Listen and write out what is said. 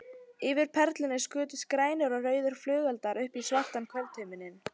Yfir Perlunni skutust grænir og rauðir flugeldar upp í svartan kvöldhimininn.